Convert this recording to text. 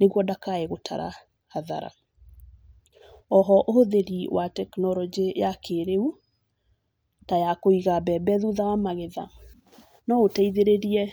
nĩguo ndakae gũtara hathara. Oho ũhũthĩri wa tekinoronjĩ ya kĩrĩu ta wa kũiga mbembe thutha wa magetha, no ũteithĩrĩrie